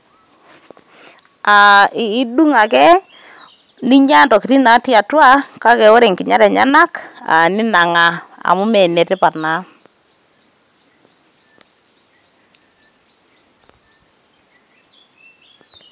Aa edung' ake aa ninya entokitin' natii atwa kake ore enginyat enyenak ninang'aa Amu Mee netipat naa.